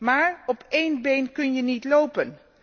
Maar op één been kun je niet lopen.